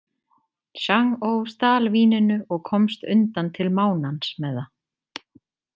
Tsjang Ó stal víninu og komst undan til mánans með það.